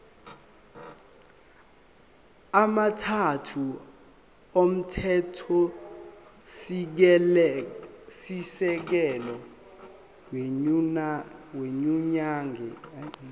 amathathu omthethosisekelo wenyunyane